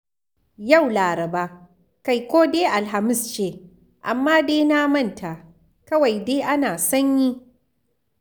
Yau Laraba, kai ko dai Alhamis ce, amma dai na manta, kawai dai ana sanyi.